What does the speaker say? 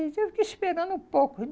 Eu fiquei esperando um pouco.